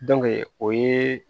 o ye